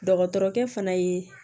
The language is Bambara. Dɔgɔtɔrɔkɛ fana ye